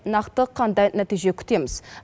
нақты қандай нәтиже күтеміз